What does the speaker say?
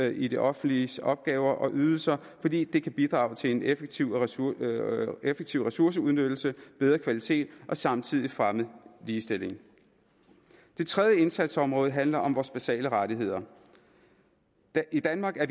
i det offentliges opgaver og ydelser fordi det kan bidrage til en effektiv ressourceudnyttelse ressourceudnyttelse bedre kvalitet og samtidig fremme ligestilling det tredje indsatsområde handler om vores basale rettigheder i danmark er